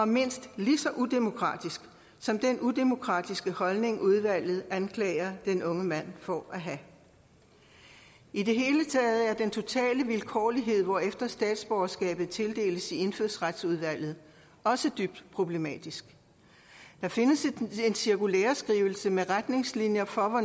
mindst lige så udemokratisk som den udemokratiske holdning udvalget anklager den unge mand for at have i det hele taget er den totale vilkårlighed hvorefter statsborgerskab tildeles i indfødsretsudvalget også dybt problematisk der findes en cirkulæreskrivelse med retningslinjer for